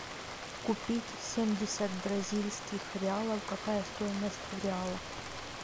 купить семьдесят бразильских реалов какая стоимость в реалах